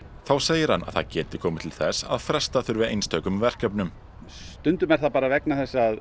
þá segir hann að það geti komið til þess að fresta þurfi einstökum verkefnum stundum er það bara vegna þess að